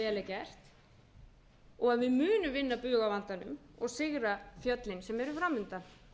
er gert og við munum vinna bug á vandanum og sigra fjöllin sem eru fram undan